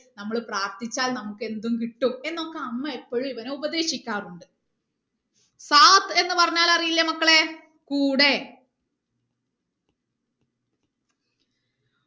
നമ്മള് പ്രാർത്ഥിച്ചാൽ നമുക്ക് എന്തും കിട്ടും എന്നൊക്കെ അമ്മ എപ്പോഴും ഇവനെ ഉപദേശിക്കാറുണ്ട് എന്ന് പറഞ്ഞാൽ അറിയില്ലേ മക്കളെ കൂടെ